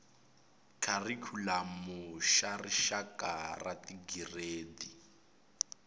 kharikhulamu xa rixaka xa tigiredi